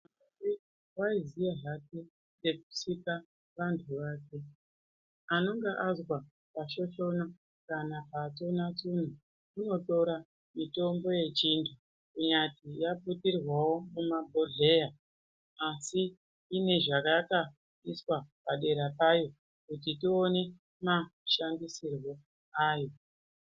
Waiziya zvake echisika vantu vake , anonga azwa pashoshona kana patsuna tsuna unotora mitombo yechiandu kunyati yaputirwawo mumabhodheya asi ine zvayakaiswa padera payo kuti tione mashandisirwe ayo.